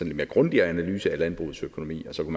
lidt mere grundig analyse af landbrugets økonomi og så